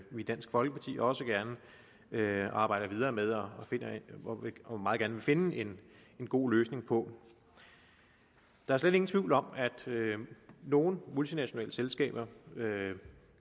vi i dansk folkeparti også gerne arbejder videre med og meget gerne vil finde en god løsning på der er slet ingen tvivl om at nogle multinationale selskaber